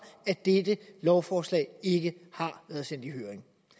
at dette lovforslag ikke har været sendt i høring